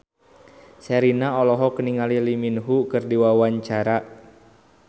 Sherina olohok ningali Lee Min Ho keur diwawancara